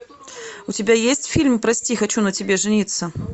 у тебя есть фильм прости хочу на тебе жениться